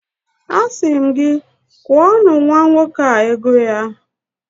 Asị m gị, kwụọnụ nwa nwoke a ego ya!